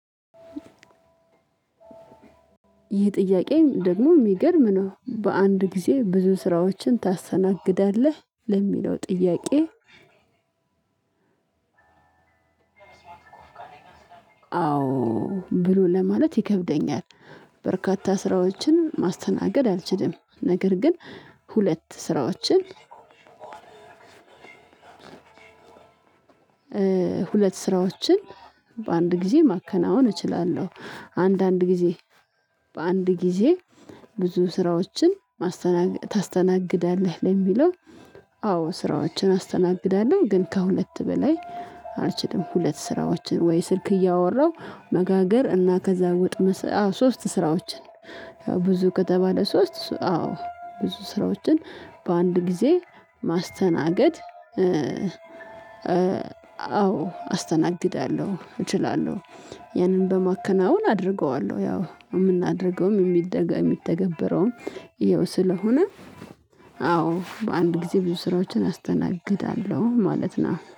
ይህ ጥያቄ ደግሞ የሚገርም ነው። በአንድ ጊዜ ብዙ ስራዎችን ታስተናግዳለህ? ለሚለው ጥያቄ አዎ ብሎ ለማለት ይከብደኛል። በርካታ ስራዎችን ማስተናገድ አልችልም። ነገር ግን ሁለት ስራዎችን ሁለት ስራዎችን በአንድ ጊዜ ማከናወን እችላለሁ። አንዳንድ ጊዜ በአንድ ጊዜ ብዙ ስራዎችን ታስተናግዳለህ ለሚለው አዎ ስራዎችን አስተናግዳለሁ፤ ግን ከሁለት በላይ አልችልም። ሁለት ስራዎችን ወይ ስልክ እያወራው መጋገር እና ከዛ ወጥ መስራት አዎ ሶስት ስራዎችን ያው ብዙ ከተባለ ሶስት አዎ ብዙ ስራዎችን በአንድ ጊዜ ማስተናገድ አዎ አስተናግዳለሁ፤ እችላለሁ ያንን በማከናወን አደርገዋለሁ፤ ያው የምናደርገውም የሚተገበረውም ይኸው ስለሆነ አዎ በአንድ ጊዜ ብዙ ስራዎችን አስተናግዳለሁ ማለት ነው።